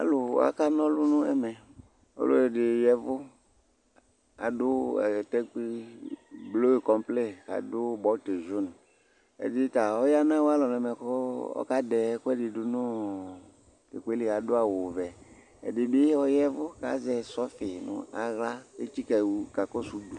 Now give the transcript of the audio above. alòwa ka n'ɔlu no ɛmɛ ɔlò ɛdi ya vu k'adu atakpui blu kɔmplen k'adu bɔtin jun ɛdi ta ɔya n'awo alɔ n'ɛmɛ k'ɔka dɛ ɛkò ɛdi do no t'ɛkò yɛ li adu awu vɛ ɛdi bi ɔya vu k'azɛ sɔfi no ala etsika ka kɔsu udu